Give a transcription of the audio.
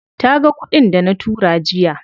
Taga kuɗin dana tura jiya.